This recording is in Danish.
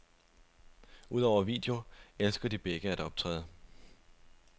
Udover video elsker de begge at optræde.